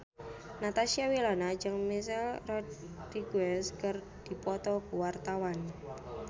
Natasha Wilona jeung Michelle Rodriguez keur dipoto ku wartawan